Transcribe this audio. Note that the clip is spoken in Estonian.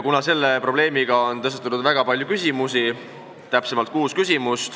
Selle probleemi tõttu on tõstatunud väga palju küsimusi, täpsemalt kuus.